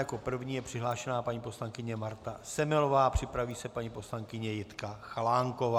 Jako první je přihlášena paní poslankyně Marta Semelová, připraví se paní poslankyně Jitka Chalánková.